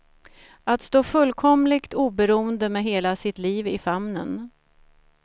Att stå fullkomligt oberoende med hela sitt liv i famnen.